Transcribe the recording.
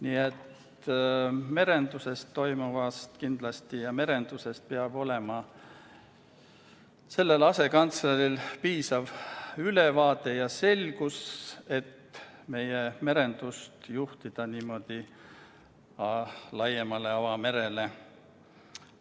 Nii et merenduses toimuvast peab sellel asekantsleril olema piisav ülevaade, peab olema selgus, kuidas meie merendus laiemale avamerele juhtida.